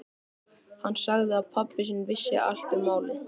Hann sagði að pabbi sinn vissi allt um málið.